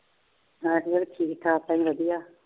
ਮੈਂ ਵੀ ਠੀਕ ਠਾਕ ਹਾਂ ਜੀ ਵਧੀਆ।